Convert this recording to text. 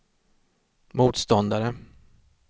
motståndare